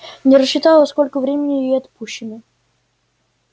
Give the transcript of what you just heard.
не рассчитала сколько времени ей отпущено